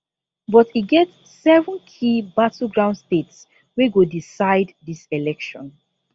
but e get seven key battleground states wey go decide dis election